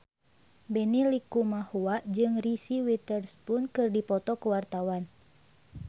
Benny Likumahua jeung Reese Witherspoon keur dipoto ku wartawan